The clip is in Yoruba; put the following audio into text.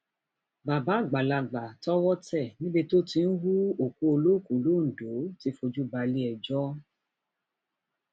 bàbá àgbàlagbà tọwọ tẹ níbi tó ti ń hu òkú olókùú londo ti fojú balẹẹjọ